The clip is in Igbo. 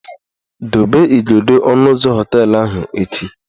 Dobe igodo ọnụ ụzọ họteelụ ahụ echi!